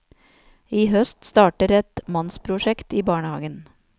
I høst starter et mannsprosjekt i barnehagen.